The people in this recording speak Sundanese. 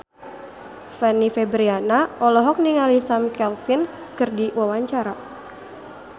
Fanny Fabriana olohok ningali Sam Claflin keur diwawancara